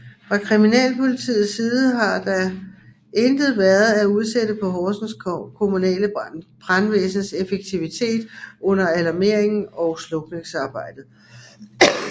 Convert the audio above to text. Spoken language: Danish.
Fra kriminalpolitiets side har der I intet været at udsætte på Horsens kommunale brandvæsens effektivitet under alarmeringen og slukningsarbejdet